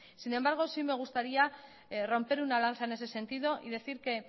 sin embargo sí me gustaría romper una lanza en ese sentido y decir